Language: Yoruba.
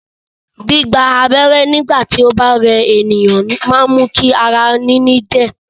Gbígba abẹ́rẹ́ nígbà tí ó bá rẹ ènìyàn máa ń mú kí ara níní dẹ̀